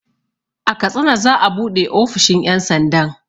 A katsina za'a buɗe ofishin ƴan sandan